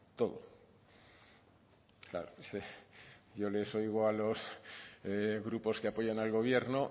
todo claro es que yo les oigo a los grupos que apoyan al gobierno